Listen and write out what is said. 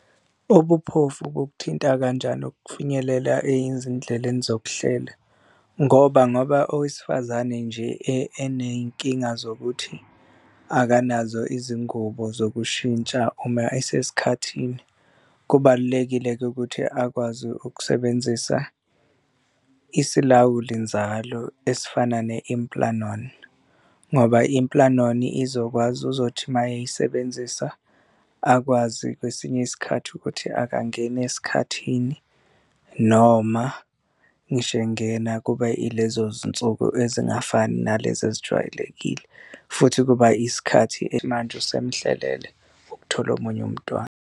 Ubuphofu bukuthinta kanjani ukufinyelela ezindleleni zokuhlela? Ngoba, ngoba owesifazane nje enenkinga zokuthi akanazo izingubo zokushintsha uma esesikhathini. Kubalulekile-ke ukuthi akwazi ukusebenzisa isilawuli nzalo esifana ne-implanon, ngoba i-implanon izokwazi uzothi uma eyisebenzisa akwazi kwesinye isikhathi ukuthi akangeni esikhathini noma ngisho engena kube ilezo zinsuku ezingafani nalezi ezijwayelekile futhi kuba isikhathi manje usemuhlelele ukuthola omunye umntwana.